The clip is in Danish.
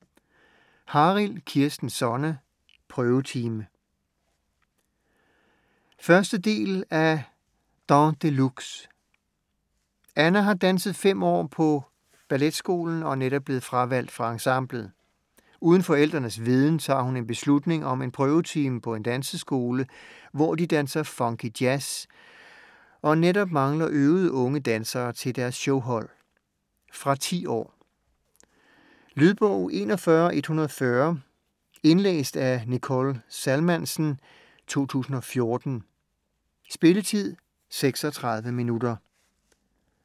Harild, Kirsten Sonne: Prøvetime 1. del af Dans de luxe. Anna har danset 5 år på balletskolen og er netop blevet fravalgt fra ensemblet. Uden forældrenes viden tager hun en beslutning om en prøvetime på en danseskole, hvor de danser funky jazz og netop mangler øvede unge dansere til deres showhold. Fra 10 år. Lydbog 41140 Indlæst af Nicole Salmansen, 2014. Spilletid: 0 timer, 36 minutter.